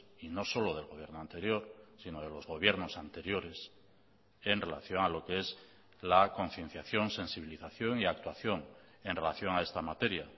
y no solo del gobierno anterior sino de los gobiernos anteriores en relación a lo que es la concienciación sensibilización y actuación en relación a esta materia